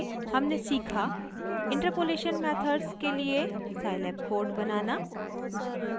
हमने सीखा interpolation methods के लिए scilab कोड बनाना